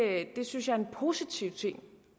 det synes jeg er en positiv ting